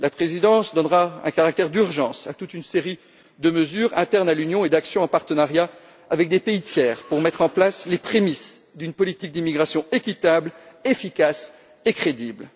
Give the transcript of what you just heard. La présidence donnera un caractère d'urgence à toute une série de mesures internes à l'Union et d'actions en partenariat avec des pays tiers pour mettre en place les prémices d'une politique d'immigration équitable, efficace et crédible.